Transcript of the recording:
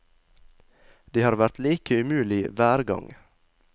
Det har vært like umulig hver gang.